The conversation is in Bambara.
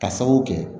Ka sababu kɛ